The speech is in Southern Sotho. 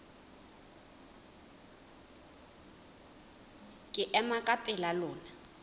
ke ema ka pela lona